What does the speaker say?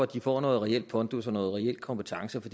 de får noget reel pondus og noget reel kompetence for